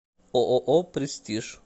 ооо престиж